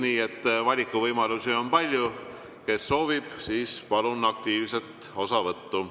Nii et valikuvõimalusi on palju, kes soovib, siis palun aktiivset osavõttu.